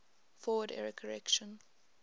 forward error correction